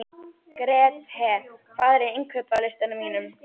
Grethe, hvað er á innkaupalistanum mínum?